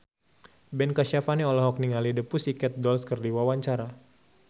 Ben Kasyafani olohok ningali The Pussycat Dolls keur diwawancara